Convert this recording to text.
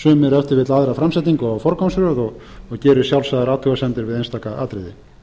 sumir ef til vill aðra framsetningu á forgangsröð og geri sjálfsagðar athugasemdir við einstaka atriði það